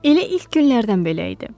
Elə ilk günlərdən belə idi.